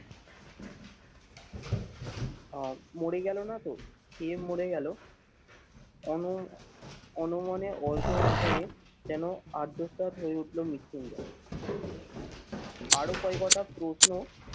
আহ মরে গেল না তো? খেয়ে মরে গেলো অন অনমনে অল্প ভাষণে যেন আর্যতা হয়ে উঠল মৃত্যুঞ্জয়। আরো কয়কটা প্রশ্ন